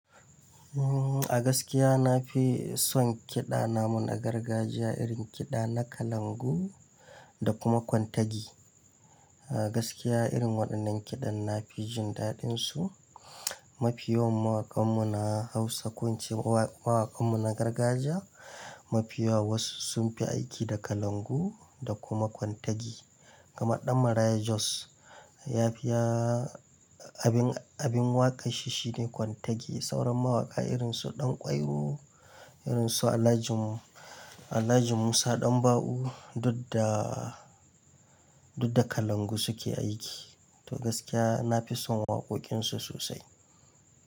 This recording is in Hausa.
Umm, a gaskiya na fi son kiɗa namu na gargajiya, irin kiɗa na kalangu da kuma kwantagi. A gaskiya irin waɗannan kiɗan na fi jin daɗinsu. Mafiyawan mawaƙan mu na Hausa, ko ince mawaƙan mu na gargajiya mafiyawa wasu sunfi aiki da kalangu da kuma kwantagi. Kamar ɗan Maraya Jos abin waƙanshi shine kwantagi. Sauran mawaƙa irin su Ɗanƙwairo, irin su Alhaji-mu Alhaji Musa Ɗanba'u duk da, kalangu su ke aiki. To gaskiya nafi son waƙoƙin su sosai.